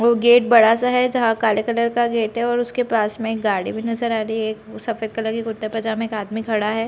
वो गेट बड़ा-सा है जहाँ काले कलर गेट और उसके पास में एक गाड़ी भी नज़र आ रही है एक सफेद कलर की कुर्ते पैजामे का आदमी खड़ा है।